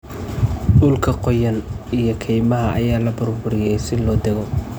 Dhulka qoyan iyo kaymaha ayaa la burburiyay si loo dagoo.